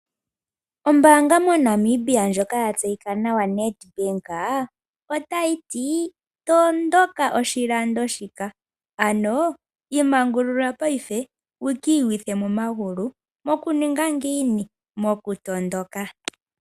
Ombaanga moNamibia ndjoka yatseyikwa nawa Nedbank otayiti : "matuka oshilando shika! ano imangulula paife wu ki uyithe momagulu nokumatuka.